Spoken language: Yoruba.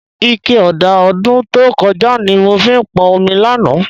Ike ọ̀dà ọdún tó kọjá ni mo fi pọn omi lánàá